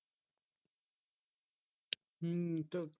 হম তো